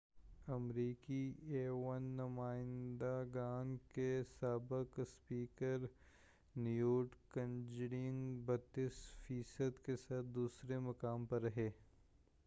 امریکی ایوانِ نمائند گان کے سابق اسپیکر نیوٹ گنگریچ 32 فی صد کے ساتھ دوسرے مقام پر رہے